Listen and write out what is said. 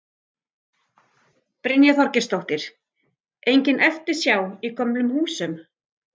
Brynja Þorgeirsdóttir: Engin eftirsjá í gömlu húsunum?